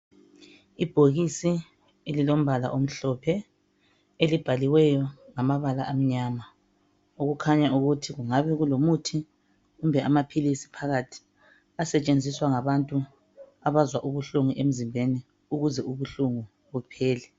Ibhokisi elilombala omhlophe elibhaliweyo ngamabala amnyama okukhanya ukuthi kungabe kulomuthi kumbe amaphilisi phakathi asetshenziswa ngabantu abazwa ubuhlungu emzimbeni ukuze ubuhlungu buphele.